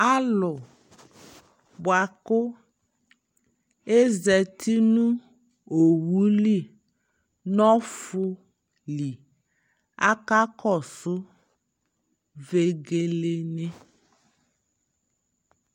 alʋ bʋakʋ azati nʋ ɔwʋli nɔƒʋ li, akakɔsʋ vɛgɛlɛ ni